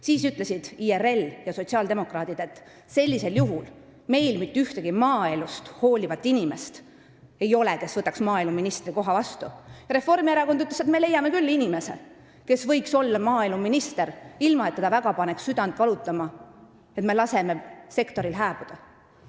Siis ütlesid IRL ja sotsiaaldemokraadid, et sellisel juhul ei ole neil mitte ühtegi maaelust hoolivat inimest, kes võtaks vastu maaeluministri koha, ja Reformierakond ütles, et nemad leiavad inimese, kes võiks olla maaeluminister, ilma et teda paneks väga südant valutama see, et sektoril lastakse hääbuda.